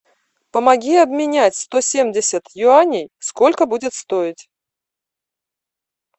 помоги обменять сто семьдесят юаней сколько будет стоить